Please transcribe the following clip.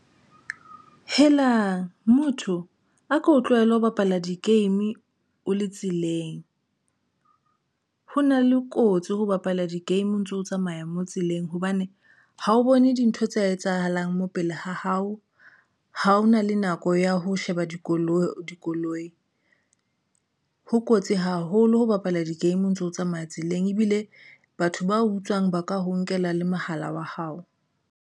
Helang motho a ko tlohele ho bapala di-game o le tseleng, ho na le kotsi ho bapala di-game o ntso tsamaya mo tseleng hobane ha o bone dintho tse etsahalang mopele ha hao. Ha ho na le nako ya ho sheba dikoloi dikoloi, ho kotsi haholo ho bapala di-game. O ntso tsamaya tseleng ebile batho ba utswang ba ka ho nkela le mohala wa hao.